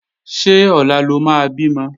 Ṣé ọ̀la ló máa bímọ?